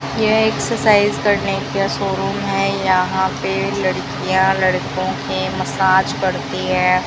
यह एक्सरसाइज करने का शोरूम है यहां पे लड़कियां लड़कों के मसाज करती हैं।